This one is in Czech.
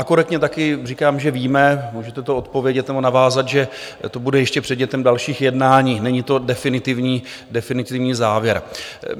A korektně taky říkám, že víme, můžete to odpovědět nebo navázat, že to bude ještě předmětem dalších jednání, není to definitivní závěr.